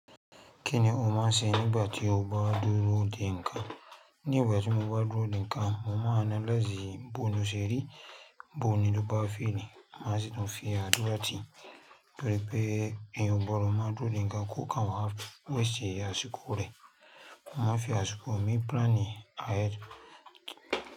Kí ni o máà ń ṣe nígbà tí o bá dúró dè ńǹkan? Nígbà tí mo bá dúró dè ńǹkan, mo máà ń analyse b'ilu sẹ́rì, búni ló bá feni, má sì tún fi àdúrà ti, torí pé èèyàn gbọdọ̀ má dúró dè ńǹkan kò kàn wá wẹ̀ sí ayé àsìkò rẹ̀. Mo má fi àsìkò mi plan ahead.